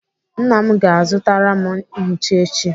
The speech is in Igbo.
Nna m ga-azụtara m nchicha echi.